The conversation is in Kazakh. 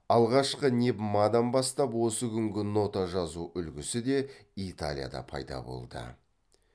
алғашқы невмадан бастап осы күнгі нота жазу үлгісі де италияда пайда болды